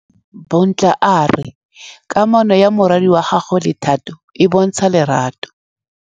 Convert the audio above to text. Bontle a re kamanô ya morwadi wa gagwe le Thato e bontsha lerato.